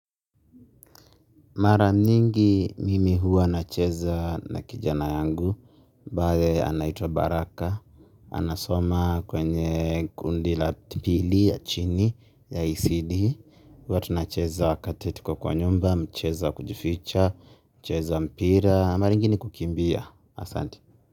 Mara nyingi mimi huwa nacheza na kijana yangu ambaye anaitww Baraka. Anasoma kwenye kundi la pili ya chini ya ICD huwa tunacheza wakati tuko kwa nyumba, mchezo wa kujificha, kucheza mpira. Mara ingine kukimbia, asanti.